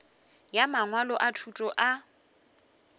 ya mangwalo a thuto a